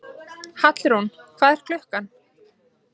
Hallrún, hvað er klukkan?